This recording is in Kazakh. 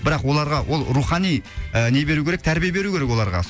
бірақ оларға ол рухани ы не беру керек тәрбие беру керек оларға